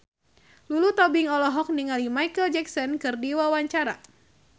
Lulu Tobing olohok ningali Micheal Jackson keur diwawancara